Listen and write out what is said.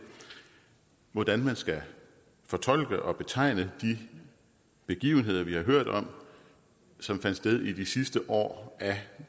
hvordan man skal fortolke og betegne de begivenheder vi har hørt om som fandt sted i de sidste år af